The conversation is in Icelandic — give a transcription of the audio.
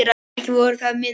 Ekki voru það mín orð!